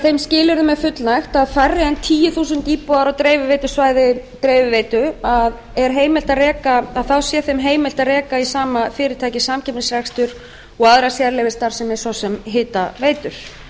þeim skilyrðum er fullnægt að færri en tíu þúsund íbúar á dreifiveitusvæði dreifiveitur sé þeim heimilt að reka í sama fyrirtæki samkeppnisrekstur og aðra sérleyfisstarfsemi svo sem hitaveitur